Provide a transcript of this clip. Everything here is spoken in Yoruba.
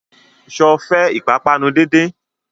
Sọ fẹ́ ìpápánu díndín?